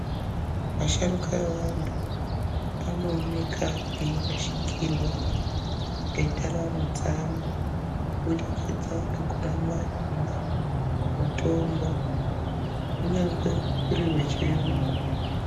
Asharuka evantu anooneka eirashikirwa ngendaramo dzawo kubudikidza ngekuramba kumwa mutombo kunyangwe uri wechiyungu.